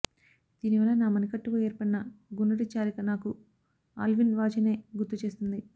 దీనివల్ల నా మణికట్టుకు ఏర్పడిన గుండ్రటి చారిక నాకు ఆల్విన్ వాచీనే గుర్తు చేస్తుంది